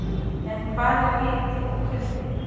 En hvað er hiti og kuldi?